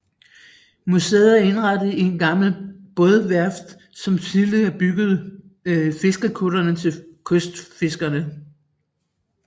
Museet er indrettet i et gammelt bådeværft som tidligere byggede fiskekuttere til kystfiskerne